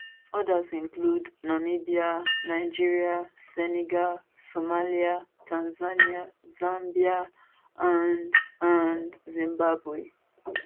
odas includenamibia nigeria senegal somalia tanzania zambia and and zimbabwe